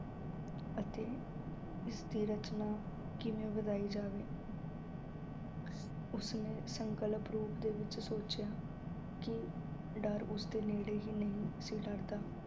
ਅਤੇ ਇਸ ਦੀ ਰਚਨਾ ਕਿਵੇਂ ਵਧਾਈ ਜਾਵੇ ਅਹ ਉਸ ਨੇ ਸੰਕਲਪ ਰੂਪ ਦੇ ਵਿੱਚ ਸੋਚਿਆ ਕਿ ਡਰ ਉਸ ਦੇ ਨੇੜੇ ਹੀ ਨਹੀਂ ਸੀ ਲੱਗਦਾ